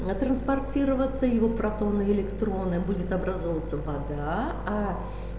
а транспортироваться его протоны электроны будет образовываться вода а